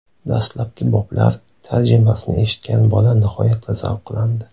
Dastlabki boblar tarjimasini eshitgan bola nihoyatda zavqlandi.